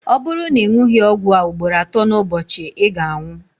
ọ bụrụ na ị ṅụghị ọgwụ a ugboro atọ n'ụbọchị ị ga-anwụ